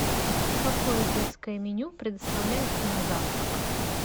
какое детское меню предоставляется на завтрак